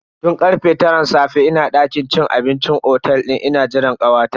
Tun karfe taran safe nake dakin cin abincin otel ina jiran kawata.